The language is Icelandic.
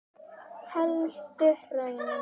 Elstu hraun